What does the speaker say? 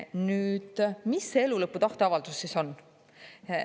Nüüd, mis see elulõpu tahteavaldus siis on?